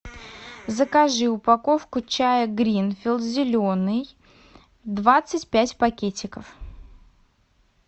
закажи упаковку чая гринфилд зеленый двадцать пять пакетиков